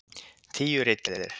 Tíu ritgerðir.